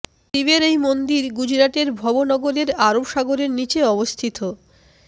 শিবের এই মন্দির গুজরাটের ভব নগরকে আরব সাগরের নীচে অবস্থিত